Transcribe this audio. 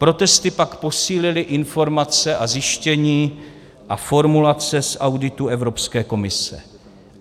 Protesty pak posílily informace a zjištění a formulace z auditů Evropské komise.